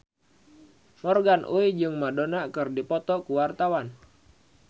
Morgan Oey jeung Madonna keur dipoto ku wartawan